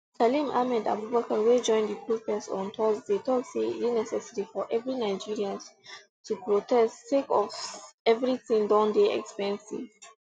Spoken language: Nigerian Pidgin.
salim ahmed abubakar wey join di protest on thursday tok say e dey necessary for every nigerians to protest sake of eviriting don dey expensive